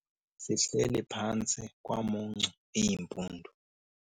Sihleli phantsi kwamuncu iimpundu.